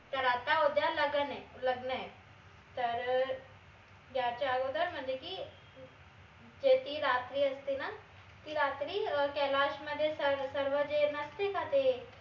तर आता उद्या लगन ए लग्न ए तर याच्या अगोदर म्हनजे की जे ती रात्री असते ना ती रात्री अं कैलाश मध्ये सर्व जे नसते का ते